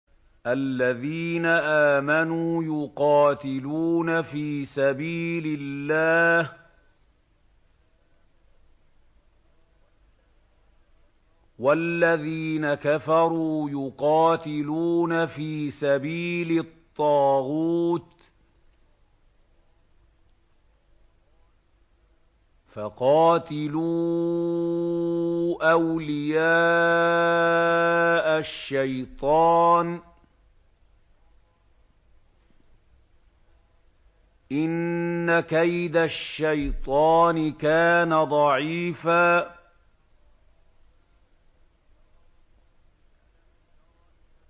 الَّذِينَ آمَنُوا يُقَاتِلُونَ فِي سَبِيلِ اللَّهِ ۖ وَالَّذِينَ كَفَرُوا يُقَاتِلُونَ فِي سَبِيلِ الطَّاغُوتِ فَقَاتِلُوا أَوْلِيَاءَ الشَّيْطَانِ ۖ إِنَّ كَيْدَ الشَّيْطَانِ كَانَ ضَعِيفًا